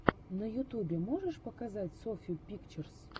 на ютубе можешь показать софью пикчерс